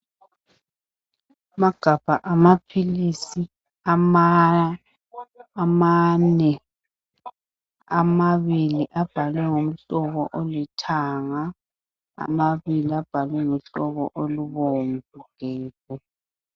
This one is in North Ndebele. Amagabha amaphilisi amane. Amabili abhalwe ngomhlobo olithanga, amabili abhalwe ngohlobo olubomvu gebhu.